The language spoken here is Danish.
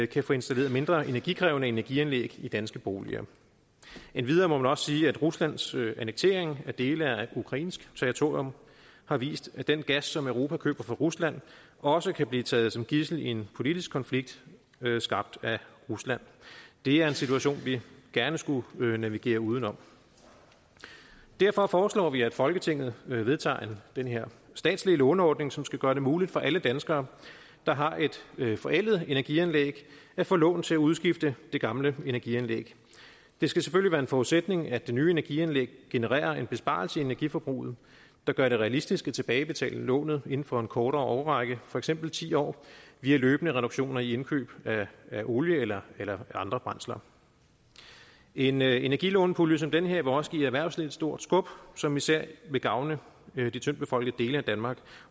kan få installeret mindre energikrævende energianlæg i danske boliger endvidere må man også sige at ruslands annektering af dele af ukrainsk territorium har vist at den gas som europa køber fra rusland også kan blive taget som gidsel i en politisk konflikt skabt af rusland det er en situation vi gerne skulle navigere uden om derfor foreslår vi at folketinget vedtager den her statslige låneordning som skal gøre det muligt for alle danskere der har et forældet energianlæg at få lån til at udskifte det gamle energianlæg det skal selvfølgelig være en forudsætning at det nye energianlæg genererer en besparelse i energiforbruget der gør det realistisk at tilbagebetale lånet inden for en kortere årrække for eksempel ti år via løbende reduktioner i indkøb af olie eller eller andre brændsler en energilånepulje som den her vil også give erhvervslivet et stort skub som især vil gavne de tyndtbefolkede dele af danmark